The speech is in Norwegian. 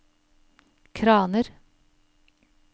kraner